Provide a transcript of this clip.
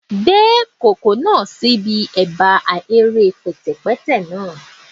Gbe ikoko naa si ẹba ahere pẹtẹpẹtẹ naa